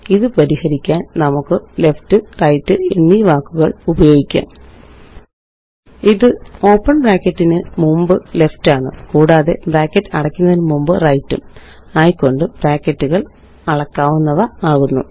ഇത് പരിഹരിക്കാന് നമുക്ക് ലെഫ്റ്റ് റൈറ്റ് എന്നീ വാക്കുകള് ഉപയോഗിക്കാം ഇത് ഓപ്പണ് ബ്രാക്കറ്റിനു മുമ്പ് ലെഫ്റ്റ് ആണ് കൂടാതെ ബ്രാക്കറ്റ് അടയ്ക്കുന്നതിനു മുമ്പ് റൈറ്റ് ഉം ആയിക്കൊണ്ട് ബ്രാക്കറ്റുകള് അളക്കാവുന്നവയാക്കുന്നു